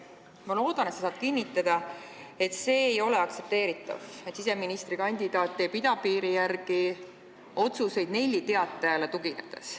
Ma loodan, et sa saad kinnitada, et see ei ole aktsepteeritav, kui siseministrikandidaat teeb idapiiri kohta otsuseid Nelli Teatajale tuginedes.